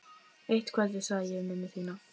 Eitt kvöldið sagði ég við mömmu þína: